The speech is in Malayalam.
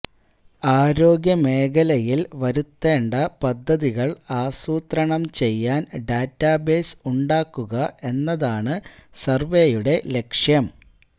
ആരോഗ്യമേഖലയില് വരുത്തേണ്ട പദ്ധതികള് ആസൂത്രണം ചെയ്യാന് ഡാറ്റാ ബേസ് ഉണ്ടാക്കുക എന്നതാണ് സര്വേയുടെ ലക്ഷ്യം